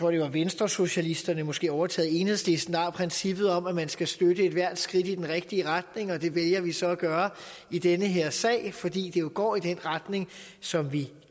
det var venstresocialisterne måske overtaget af enhedslisten der havde princippet om at man skal støtte ethvert skridt i den rigtige retning og det vælger vi så at gøre i den her sag fordi det jo går i den retning som vi